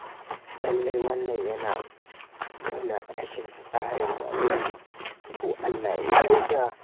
Lallai wannan yana nuna rashin tsarin rayuwa. To Allah ya kyauta.